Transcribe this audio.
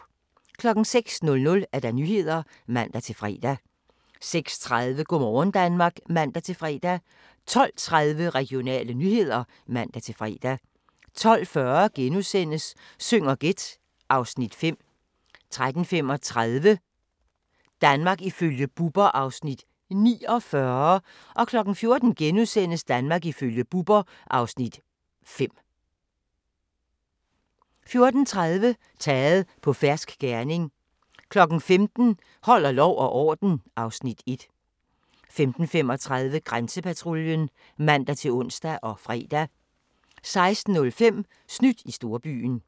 06:00: Nyhederne (man-fre) 06:30: Go' morgen Danmark (man-fre) 12:30: Regionale nyheder (man-fre) 12:40: Syng og gæt (Afs. 5)* 13:35: Danmark ifølge Bubber (Afs. 49) 14:00: Danmark ifølge Bubber (Afs. 5)* 14:30: Taget på fersk gerning 15:00: Holder lov og orden (Afs. 1) 15:35: Grænsepatruljen (man-ons og fre) 16:05: Snydt i storbyen